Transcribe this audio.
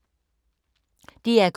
DR K